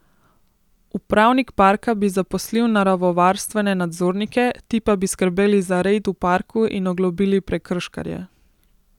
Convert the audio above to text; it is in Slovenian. Upravnik parka bi zaposlil naravovarstvene nadzornike, ti pa bi skrbeli za red v parku in oglobili prekrškarje.